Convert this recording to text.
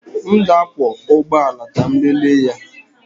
M ga-akwọ ụgbọ ala ka m lelee ya.